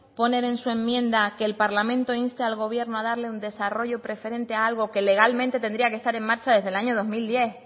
poner en su enmienda que el parlamento vasco insta al gobierno a darle un desarrollo preferente a algo que legalmente tendría que estar en marcha desde el año dos mil diez